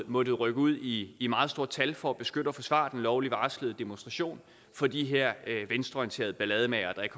måttet rykke ud i i meget stort tal for at beskytte og forsvare den lovligt varslede demonstration fra de her venstreorienterede ballademagere der ikke